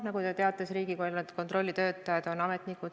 Nagu te teate, Riigikontrolli töötajad on ametnikud.